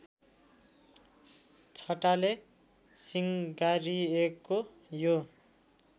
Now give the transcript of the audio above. छटाले सिँगारिएको यो